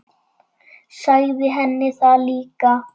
Sagði henni það líka.